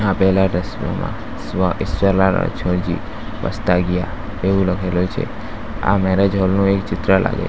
આપેલા દ્રશ્યમાં સ્વ ઈશ્વરલાલ રણછોડજી પસ્તાગીયા એવું લખેલું છે આ મેરેજ હોલ નું એક ચિત્ર લાગે --